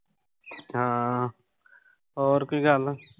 ਹਾਂ ਹੋਰ ਕੋਈ ਗੱਲ?